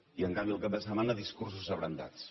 i en canvi el cap de setmana discursos abrandats